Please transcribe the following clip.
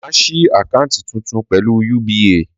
Màá ṣí àkáńtì tuntun pẹ̀lú UBA